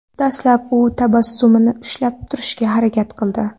Dastlab u tabassumini ushlab turishga harakat qildi.